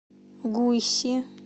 гуйси